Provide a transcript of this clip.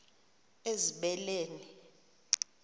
ezibeleni